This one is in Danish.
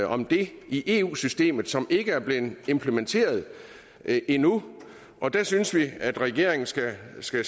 om det i eu systemet som ikke er blevet implementeret endnu og der synes vi at regeringen skal se